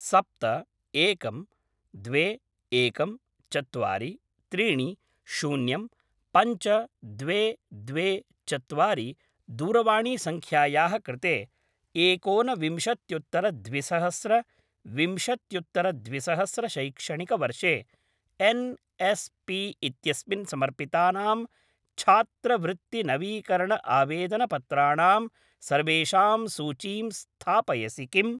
सप्त एकं द्वे एकं चत्वारि त्रीणि शून्यं पञ्च द्वे द्वे चत्वारि दूरवाणीसङ्ख्यायाः कृते एकोन विंशत्युत्तर द्विसहस्र विंशत्युत्तर द्विसहस्र शैक्षणिकवर्षे एन्.एस्.पी. इत्यस्मिन् समर्पितानां छात्रवृत्ति नवीकरण आवेदनपत्राणां सर्वेषां सूचीं स्थापयसि किम्?